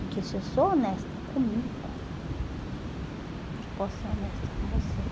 Porque se eu sou honesta comigo, eu posso ser honesta com você.